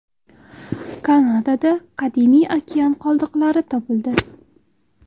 Kanadada qadimiy okean qoldiqlari topildi.